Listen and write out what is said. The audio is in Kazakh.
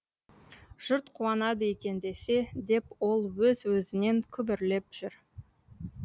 жұрт қуанады екен десе деп ол өз өзінен күбірлеп жүр